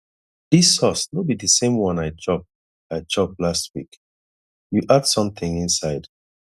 dis sauce no be the same one i chop i chop last week you add something inside